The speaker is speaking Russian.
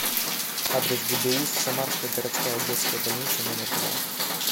адрес гбуз самарская городская детская больница номер два